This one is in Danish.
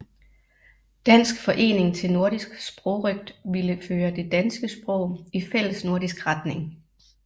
Dansk Forening til Nordisk Sprogrøgt ville føre det danske sprog i fællesnordisk retning